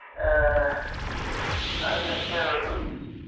ആഹ് നാളെ check എയ്തോ ഇവിടുന്ന്